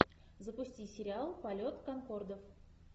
запусти сериал полет конкордов